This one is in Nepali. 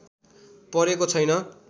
परेको छैन